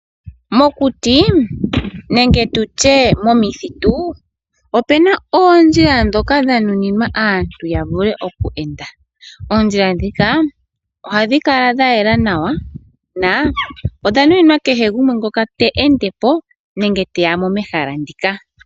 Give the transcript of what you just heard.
Mokuti ohamu kala oondjila dhoku endwa kaantu, oondjila ndhika ohadhi kala dha yela nawa nodha nuninwa kehe gumwe ngoka te ende po nenge te ya mo mehala ndika.